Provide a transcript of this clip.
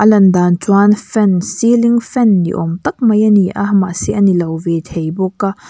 lan dan chuan fan ceilling fan ni awm tak mai a ni a mahse a nilo ve thei bawk a.